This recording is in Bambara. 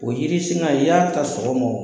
O yiri singa i y'a ta sɔgɔma o